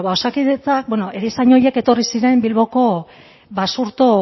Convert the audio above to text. bueno ba osakidetzak bueno erizain horiek etorri ziren bilboko basurto